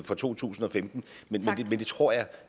fra to tusind og femten men det tror jeg